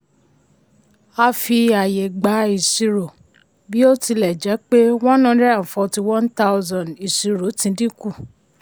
a fi ààyè gbá ìṣirò bí ó tilẹ̀ jẹ́ pé one hundred and forty one thousand ìṣirò ti dínkù.